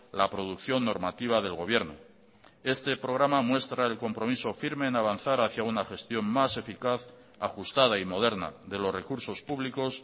la producción normativa del gobierno este programa muestra el compromiso firme en avanzar hacia una gestión más eficaz ajustada y moderna de los recursos públicos